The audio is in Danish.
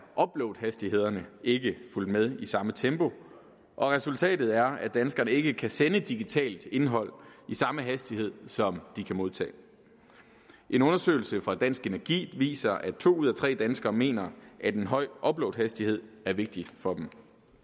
uploadhastighederne ikke fulgt med i samme tempo og resultatet er at danskerne ikke kan sende digitalt indhold i samme hastighed som de kan modtage en undersøgelse fra dansk energi viser at to ud af tre danskere mener at en høj uploadhastighed er vigtig for dem